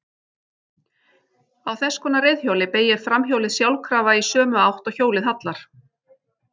Á þess konar reiðhjóli beygir framhjólið sjálfkrafa í sömu átt og hjólið hallar.